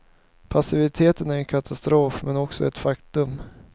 Passiviteten är en katastrof, men också ett faktum.